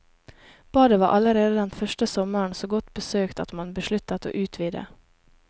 Badet var allerede den første sommeren så godt besøkt at man besluttet å utvide.